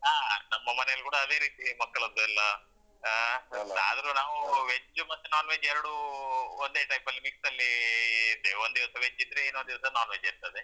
ಹಾ ನಮ್ಮ ಮನೆಯಲ್ಲ್ ಕೂಡ ಅದೇ ರೀತಿಯೇ ಮಕ್ಕಳದ್ದು ಎಲ್ಲ ಆ ಆದ್ರು ನಾವ್ veg ಮತ್ತೆ non veg ಎರ್ಡೂ ಒಂದೇ type ಅಲ್ಲಿ mix ಅಲ್ಲೀ ಇದ್ದೇವೆ ಒಂದ್ ದಿವ್ಸ veg ಇದ್ರೆ ಇನ್ನೊಂದ್ ದಿವ್ಸ non veg ಇರ್ತದೆ.